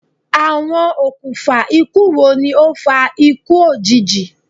Awọn okunfa iku wo ni o fa iku iku ojiji?